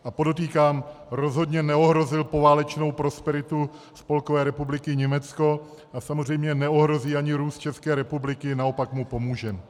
A podotýkám, rozhodně neohrozil poválečnou prosperitu Spolkové republiky Německo a samozřejmě neohrozí ani růst České republiky, naopak mu pomůže.